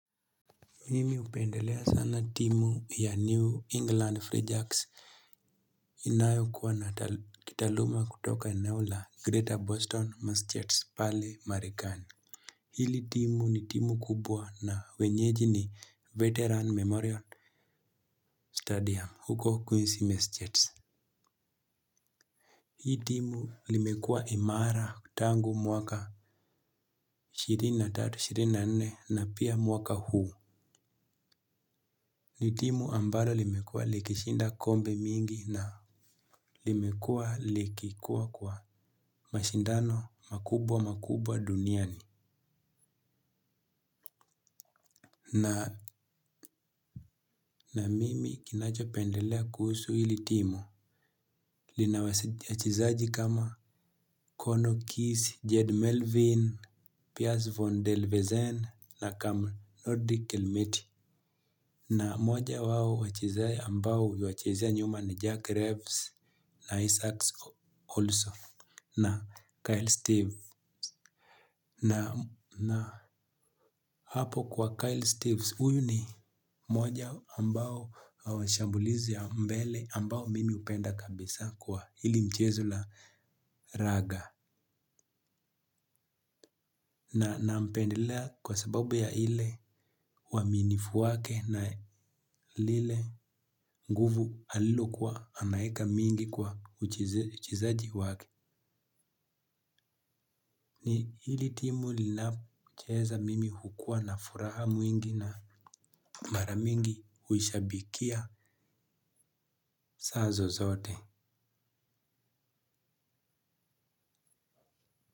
Mimi hupendelea sana timu ya New England Free Jacks. Inayo kuwa na kitaluma kutoka eneo la Greater Boston Massachusetts. Pale Marikani. Hili timu ni timu kubwa na wenyeji ni Veteran Memorial Stadium huko Quincy Massachusetts. Hii timu limekua imara tangu mwaka ishiri na tatu ishiri na nne na pia mwaka huu. Ni timu ambalo limekuwa likishinda kombe mingi na limekuwa likikuwa kwa mashindano makubwa makubwa duniani. Na na mimi kinacho pendelea kuhusu hili timu. Linawaseja chezaji kama Kono Kies, Jed Melvin, Pierce Von Delvesen na Kamel Nordi Kilmet. Na moja wao wachezaji ambao huwachezea nyuma na Jack Rebs na Isaacs also. Na Kyle Steeves na hapo kwa Kyle Steeves uyu ni moja ambao shambulizi ya mbele ambao mimi upenda kabisa kwa hili mchezo la raga nampendelea kwa sababu ya ile waminifu wake na lile nguvu alilokuwa anaeka mingi kwa uchizaji wake. Ni hili timu linapo cheza mimi hukua na furaha mwingi na maramingi huishabikia saa zozote.